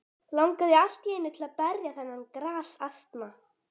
Langaði allt í einu til að berja þennan grasasna.